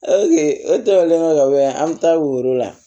o tɛmɛnen kɔfɛ ka bɔ yan an bɛ taa woro la